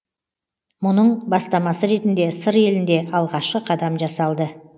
мұның бастамасы ретінде сыр елінде алғашқы қадам жасалды